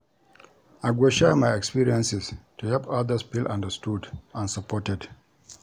I go share my experiences to help others feel understood and supported.